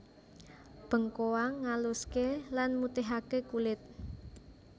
Bengkoang ngaluské lan mutihaké kulit